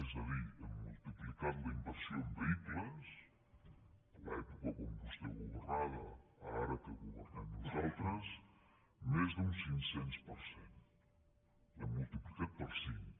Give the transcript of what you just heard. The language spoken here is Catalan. és a dir hem multiplicat la inversió en vehicles de l’època quan vostè governava a ara que governem nosaltres més d’un cinc cents per cent l’hem multiplicat per cinc